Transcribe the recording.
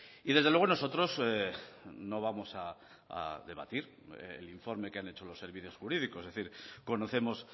y desde luego nosotros no vamos a debatir el informe que han hecho los servicios jurídicos es decir conocemos